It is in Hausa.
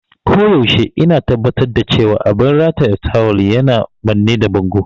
A koyaushe ina tabbatar da cewa abin rataye tawul yana manne da bango.